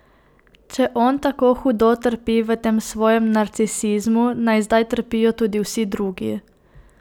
Če on tako hudo trpi v tem svojem narcisizmu, naj zdaj trpijo tudi vsi drugi!